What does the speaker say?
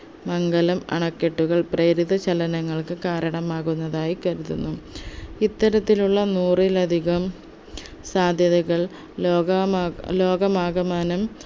മംഗലം അണക്കെട്ടുകൾ പ്രേരിത ചലനങ്ങൾക്ക് കരണമാകുന്നുന്നതായി കരുതുന്നു ഇത്തരത്തിലുള്ള നൂറിലധികം സാധ്യതകൾ ലോകമാ ലോകമാകമാനം